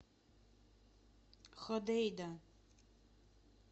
ходейда